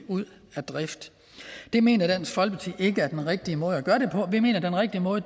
ud af drift det mener dansk folkeparti ikke er den rigtige måde gøre det på vi mener den rigtige måde